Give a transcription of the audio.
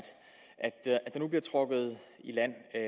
der nu bliver trukket i land jeg